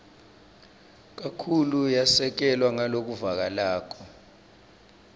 kakhulu yasekelwa ngalokuvakalako